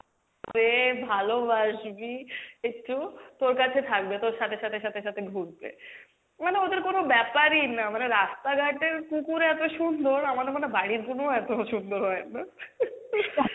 ভালোবাসবী একটু তোর কাছে থাকবে, তোর সাথে সাথে সাথে সাথে ঘুরবে, মানে ওদের কোনো ব্যাপারই না মানে রাস্তাঘাটের কুকুর এত সুন্দর, আমাদের মনে হয় বাড়ির গুনোও এত সুন্দর হয় না